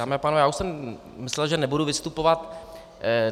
Dámy a pánové, já už jsem myslel, že nebudu vystupovat.